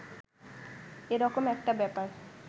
এ রকম একটা ব্যাপার